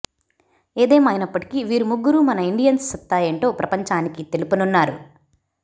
ఏదేమైనప్పటికీ వీరు ముగ్గురు మన ఇండియన్స్ సత్తా ఏంటో ప్రపంచానికి తెలుపనున్నారు